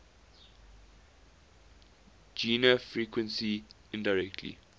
gene frequency indirectly